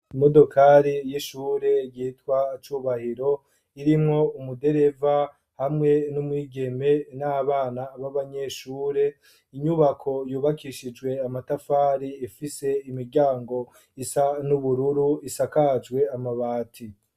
Imodokari y'ishure yitwa Cubahiro irimwo umudereva hamwe n'umwigeme n'abana b'abanyeshure. Inyubako yubakishijwe amatafari ifise imiryango isa n'ubururu isakajwe amabati.